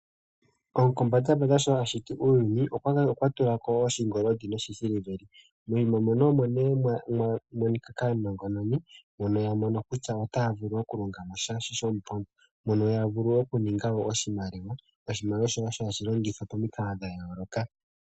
Gopombandambanda sho a shiti uuyuni okwa tula ko wo oshingoli noshisiliveli. Moyima mono nee mwa monika kaanongononi, mbono ya mono kutya otaya vulu okulonga mo sha shomupondo mono ya vulu okuninga oshimaliwa. Oshimaliwa shono hashi longithwa pamikalo dha yooloka.